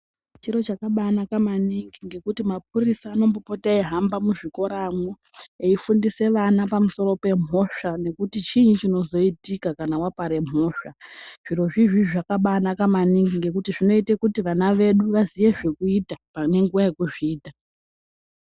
Chiro chakabainaka maningi ngekuti mapurisa anombopota eyihamba muzvikora eyifundisa vana pamusoro pemhosva nekuti chii chinozoitika kana wapare mhosva zvirozvizvi zvakabainaka maningi ngekuti zvinoite kuti vana vedu vazive zvokuita panenguva yekuzviita.